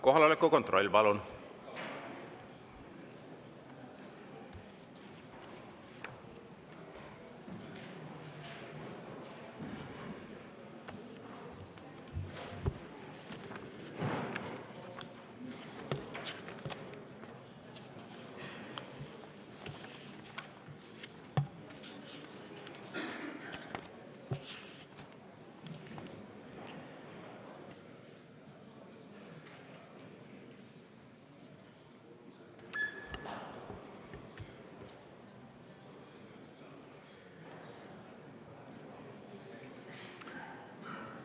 Kohaloleku kontroll, palun!